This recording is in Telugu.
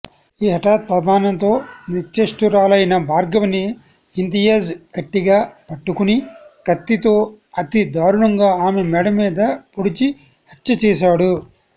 ఈ హఠాత్పరిమాణంతో నిశే్చష్టురాలైన భార్గవిని ఇంతియాజ్ గట్టిగా పట్టుకుని కత్తితో అతి దారుణంగా ఆమెమెడ మీద పొడిచి హత్య చేశాడు